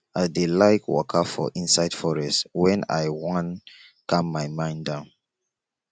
i dey like waka for inside forest wen i wan calm my mind down